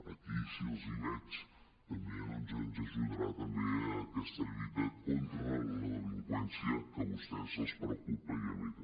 aquí si els hi veig també doncs ens ajudarà a aquesta lluita con·tra la delinqüència que a vostès els preocupa i a mi també